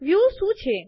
વ્યું શું છે